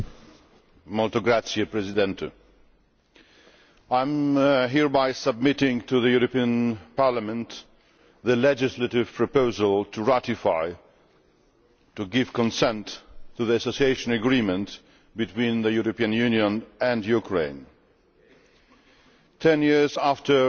Mr President, I am hereby submitting to the European Parliament the legislative proposal to ratify to give consent to the Association Agreement between the European Union and the Ukraine, ten years after the Orange